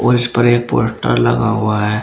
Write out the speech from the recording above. और इस पर एक पोस्टर लगा हुआ है।